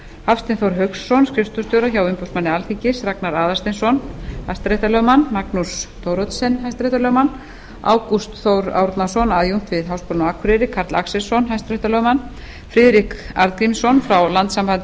hafstein þór hauksson skrifstofustjóra hjá umboðsmanni alþingis ragnar aðalsteinsson hrl magnús thoroddsen hrl ágúst þór árnason aðjúnkt við háskólann á akureyri karl axelsson hrl friðrik arngrímsson frá landssambandi